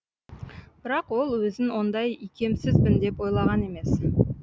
бірақ ол өзін ондай икемсізбін деп ойлаған емес